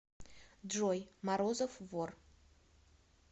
джой морозов вор